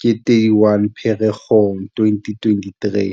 ke 31 Pherekgong 2023.